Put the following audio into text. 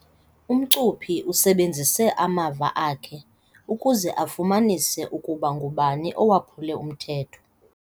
Umcuphi usebenzise amava akhe ukuze afumanise ukuba ngubani owaphule umthetho.